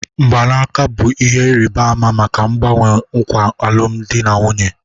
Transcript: Mgbanaka bụ ihe ịrịba ama maka mgbanwe nkwa alụmdi na nwunye